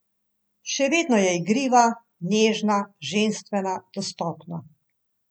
Še vedno je igriva, nežna, ženstvena, dostopna.